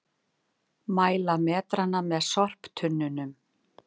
Mæla metrana að sorptunnunum